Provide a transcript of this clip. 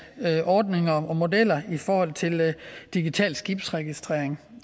ordninger og modeller i forhold til digital skibsregistrering